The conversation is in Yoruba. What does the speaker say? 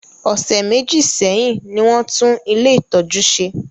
Ọ̀sẹ̀ méjì sẹ́hìn ní wọ́n tún ilé-ìtọ́jú ṣe.